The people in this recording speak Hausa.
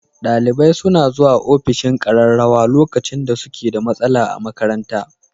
Dalibai suna zuwa ofishin ƙararrawa lokacin da suke da matsala a makaranta.